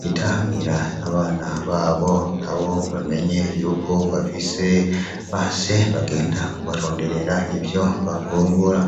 bitahanira abana babo abo bamenye yuko bafise ba se bagenda kubaronderera ivyo bafungura.